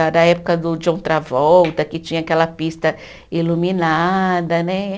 Época do John Travolta, que tinha aquela pista iluminada, né?